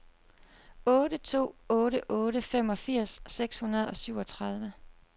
otte to otte otte femogfirs seks hundrede og syvogtredive